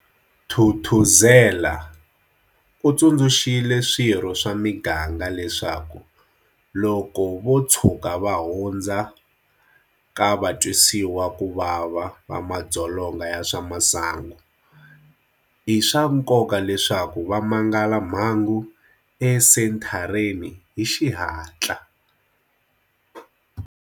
Thuthuzela, u tsundzuxile swirho swa miganga leswaku loko vo tshuka va hundzu ka vatwisiwakuvava va madzolonga ya swa masangu, i swa nkoka leswaku va mangala mhangu esenthareni hi xihatla.